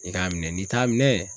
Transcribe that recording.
I k'a minɛ n'i t'a minɛ